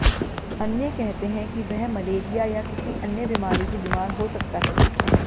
अन्य कहते हैं कि वह मलेरिया या किसी अन्य बीमारी से बीमार हो सकता है